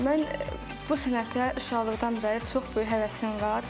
Mən bu sənətə uşaqlıqdan bəri çox böyük həvəsim var.